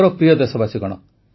ମୋର ପ୍ରିୟ ଦେଶବାସୀଗଣ